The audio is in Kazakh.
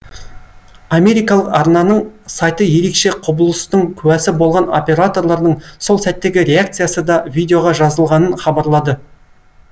америкалық арнаның сайты ерекше құбылыстың куәсі болған операторлардың сол сәттегі реакциясы да видеоға жазылғанын хабарлады